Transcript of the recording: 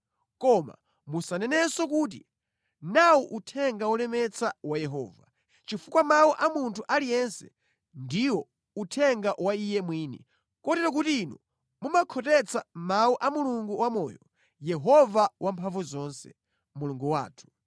Koma musanenenso kuti ‘nawu uthenga wolemetsa wa Yehova,’ chifukwa mawu a munthu aliyense ndiwo uthenga wa iye mwini, kotero kuti inu mumakhotetsa mawu a Mulungu wamoyo, Yehova Wamphamvuzonse, Mulungu wathu.